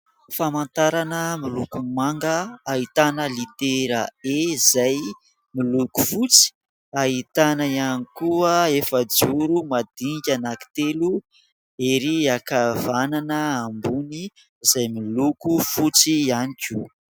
Famantarana miloko manga ahitana litera e izay miloko fotsy, ahitana ihany koa efa-joro madinika anakitelo ery ankavanana ambony izay miloko fotsy ihany koa.